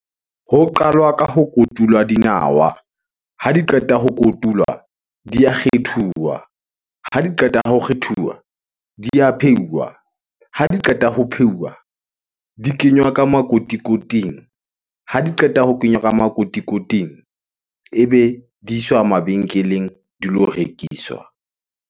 Ho qalwa ka ho kotulwa dinawa. Ha di qeta ho kotulwa, di a kgethuwa. Ha di qeta ho kgethuwa, di a pheuwa. Ha di qeta ho pheuwa, di kenywa ka makotikoting. Ha di qeta ho kenywa ka makotikoting ebe di iswa mabenkeleng di lo rekiswa.